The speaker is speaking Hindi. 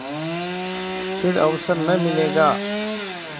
फिर अवसर न मिलेगा